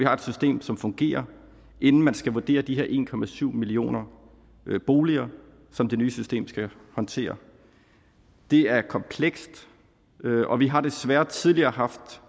har et system som fungerer inden man skal vurdere de en millioner boliger som det nye system skal håndtere det er komplekst og vi har desværre tidligere haft